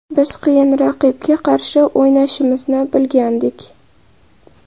Biz qiyin raqibga qarshi o‘ynashimizni bilgandik.